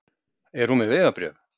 Er hún með vegabréf?